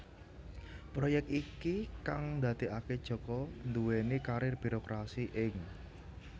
Proyek iki kang ndadekaké Djoko nduwèni karir birokrasi ing